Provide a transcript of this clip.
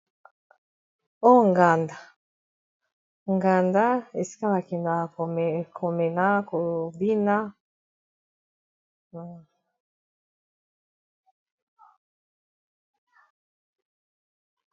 O nganda, nganda esika bakendeka komela kobina.